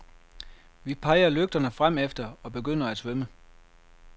Vi peger lygterne fremefter og begynder at svømme.